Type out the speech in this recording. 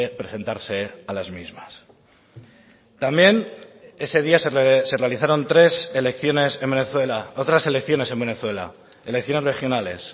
presentarse a las mismas también ese día se realizaron tres elecciones en venezuela otras elecciones en venezuela elecciones regionales